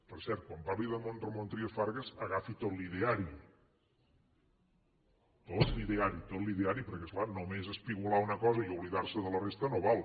per cert quan parli d’en ramon trias fargas agafi tot l’ideari tot l’ideari tot l’ideari perquè és clar només espigolar una cosa i oblidar se de la resta no val